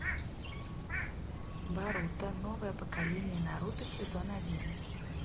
боруто новое поколение наруто сезон один